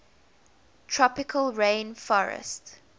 tropical rain forestt